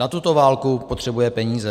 Na tuto válku potřebuje peníze.